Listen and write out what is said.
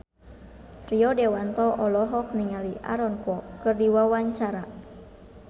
Rio Dewanto olohok ningali Aaron Kwok keur diwawancara